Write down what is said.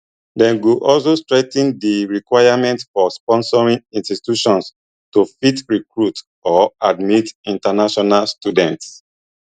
dem go also strengthen di requirements for sponsoring institutions to fit recruit or admit international students